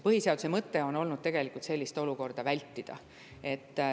Põhiseaduse mõte on olnud see, et sellist olukorda tuleks vältida.